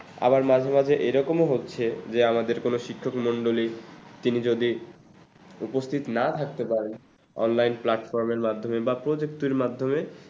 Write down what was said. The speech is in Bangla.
আবার মাঝে মাঝে এরকমও হচ্ছে যে আমাদের কোনো শিক্ষক মন্ডলী তিনি যদি উপস্থিত না থাকতে পারেন অনলাইন platform মাধ্যমে বা projector মাধ্যমে